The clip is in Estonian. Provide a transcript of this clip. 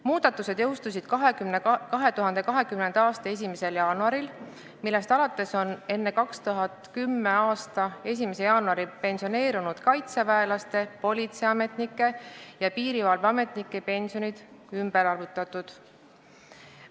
Muudatused jõustusid 2020. aasta 1. jaanuaril, millest alates on enne 2010. aasta 1. jaanuari pensioneerunud kaitseväelaste, politseiametnike ja piirivalveametnike pension ümber arvutatud.